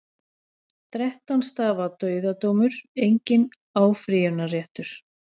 Þrettán stafa dauðadómur, enginn áfrýjunarréttur.